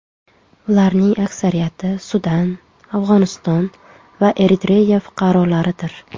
Ularning aksariyati Sudan, Afg‘oniston va Eritreya fuqarolaridir.